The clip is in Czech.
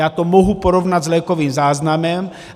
Já to mohu porovnat s lékovým záznamem.